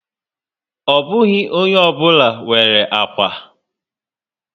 Ọ bụghị ónyé obula nwèrè ákwà